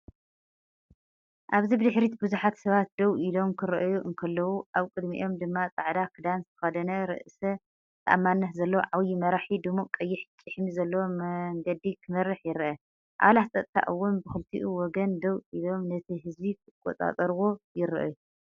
ኣብዚ ብድሕሪት ብዙሓት ሰባት ደው ኢሎም ክረኣዩ እንከለዉ፡ኣብ ቅድሚኦም ድማ ጻዕዳ ክዳን ዝተኸድነ ርእሰ ተኣማንነት ዘለዎ ዓቢ መራሒ ድሙቕ ቀይሕ ጭሕሚ ዘለዎ መንገዲ ክመርሕ ይረአ። ኣባላት ጸጥታ እውን ብኽልቲኡ ወገን ደው ኢሎም ነቲ ህዝቢ ክቆጻጸርዎ ይረኣዩ።